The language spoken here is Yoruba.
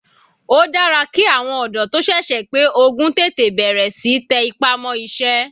Ó dára ki àwọn ọ̀dọ́ tó sẹ̀sẹ̀ pé ogún tètè bẹ̀rẹ̀ síí tẹ ipá mọ́ iṣẹ́.